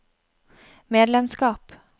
medlemskap